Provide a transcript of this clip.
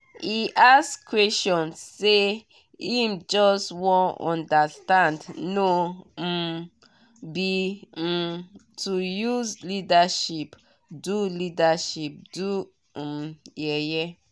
e ask question say him just wan understand no um be um to use leadership do leadership do um yeye